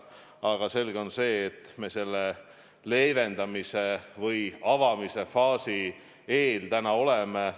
Aga selge on see, et me selle leevendamise või avamise faasi eel täna oleme.